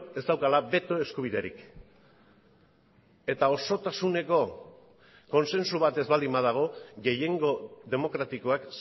ez daukala beto eskubiderik eta osotasuneko kontsensu bat ez baldin badago gehiengo demokratikoak